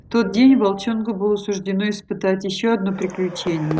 тот день волчонку было суждено испытать ещё одно приключение